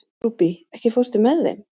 Rúbý, ekki fórstu með þeim?